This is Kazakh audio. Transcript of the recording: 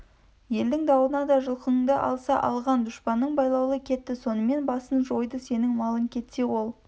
елдің дауына да жылқынды алса алған дүспаның байлаулы кетті сонымен басын жойды сенің малың кетсе ол